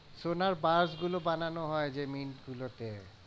সোনার bar গুলো বানানো হয় যেই গুলোতে।